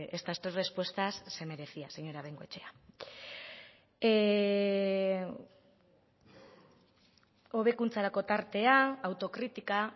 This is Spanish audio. estas tres respuestas se merecía señora bengoechea hobekuntzarako tartea autokritika